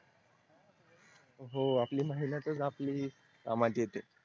हो आपली मेहनताच आपली कामाची येते